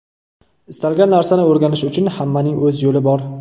Istalgan narsani o‘rganish uchun hammaning o‘z yo‘li bor.